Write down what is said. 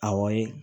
Awɔ ye